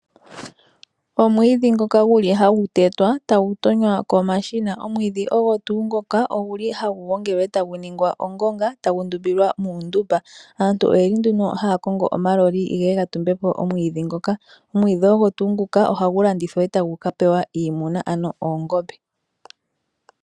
Omwiidhi ngoka guli hagu tetwa etagu tonywa komashina. Omwiidhi ogo tuu ngoka oguli hagu gongelwa etagu ningwa ongonga etagu ndumbilwa muundumba. Aantu oye li nduno haa kongo omaloli geye ga tumbe po omwiidhi ngoka. Omwiidhi ogo tuu ngoka ohagu landithwa etagu ka pewa iimuna ano oongombe.